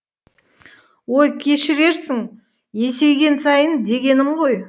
ой кешірерсің есейген сайын дегенім ғой